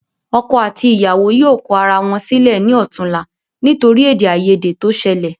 Ọkọ àti ìyàwó yóò kọ ara wọn sílẹ ní ọ̀túla nítorí ede ayede to sẹlẹ̀